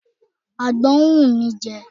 Àgbọn ń wù mí jẹ.